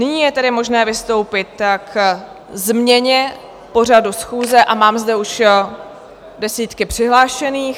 Nyní je tedy možné vystoupit k změně pořadu schůze a mám zde už desítky přihlášených.